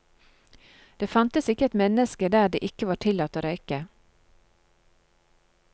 Det fantes ikke et menneske der det ikke var tillatt å røyke.